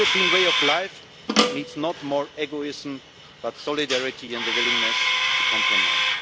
The European way of life needs not more egoism but solidarity and the willingness to compromise.